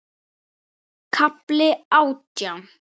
KAFLI ÁTJÁN